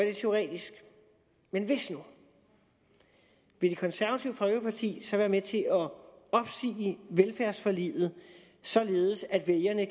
er teoretisk men hvis nu vil det konservative folkeparti så være med til at opsige velfærdsforliget således at vælgerne